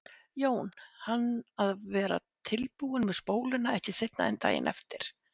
Jón hann að vera tilbúinn með spóluna ekki seinna en daginn eftir.